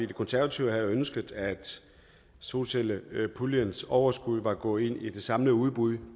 de konservative havde ønsket at solcellepuljens overskud var gået ind i det samlede udbud